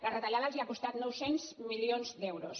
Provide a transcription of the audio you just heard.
la retallada els ha costat nou cents milions d’euros